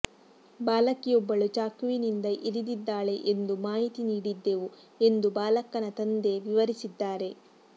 ಬಾಲಕಿಯೊಬ್ಬಳು ಚಾಕುವಿನಿಂದ ಇರಿದಿದ್ದಾಳೆ ಎಂದು ಮಾಹಿತಿ ನೀಡಿದ್ದೆವು ಎಂದು ಬಾಲಕನ ತಂದೆ ವಿವರಿಸಿದ್ದಾರೆ